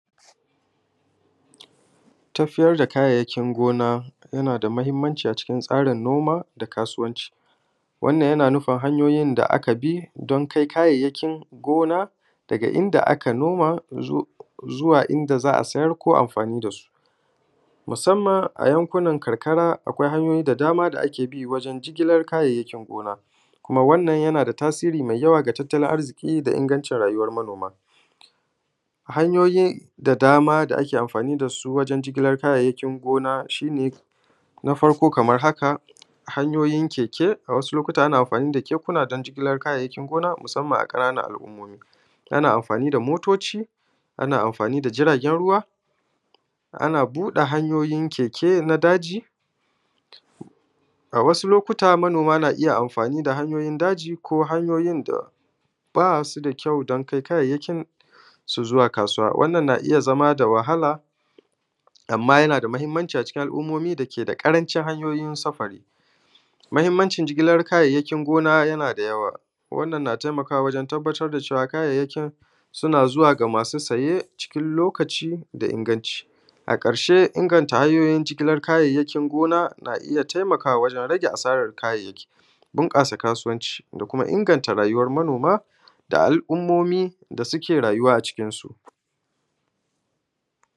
Tafiyar da kayayyakin gona yana da mahimmanci a cikin tsarin noma da kasuwanci. Wannan yana nufin hanyoyin da aka bi don kai kayayyakin gona daga inda aka noma zuwa inda za a siyar ko za ai amfani da su. Musaman a yankunan karkara, akwai hanyoyi da dama da ake bi wurin jigilan kayayyakin gona kuma wannan yana da tasiri sosai ga tattalin arziƙin ƙasa da rayuwan manoma. Hanyoyi da dama wanda ake amfani da su wurin jigilan kayayyakin gona shi ne na farko, kaman haka: Hanyoyin keke wasu lokoci ana amfani da kekuna don jigilan kayayyakin gona, musaman a ƙananan al'ummomi. Ana amfani da motoci, ana amfani da jiragen ruwa Ana buɗe hanyoyin keke na daji a wasu lokota, manoma na iya amfani da hanyoyin daji ko hanyoyin da ba su da kyau don kai su zuwa kasuwa. Wannan na iya zamana da wahala, amma yana da mahimmanci a cikin al'ummomi da ke da ƙarancin hanya don saurin sufari. Mahimmancin jigilan kayayyakin gona yana da yawa wannan yana taimakawa wurin tabbatar da cewa kayayyakin suna isa ga masu saye cikin lokaci da inganci. A ƙarshe, inganta hanyoyin jigilan kayayyakin gona na iya taimakawa wurin rage asaran kayayyaki, bunƙasa kasuwanci, da kuma inganta rayuwan manoma da al'ummomin da suke rayuwa a cikinsu.